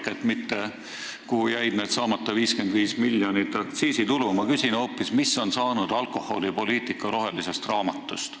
See ei ole mitte see, kuhu jäi see saamata jäänud 55 miljonit aktsiisitulu, vaid ma küsin hoopis, mis on saanud alkoholipoliitika rohelisest raamatust.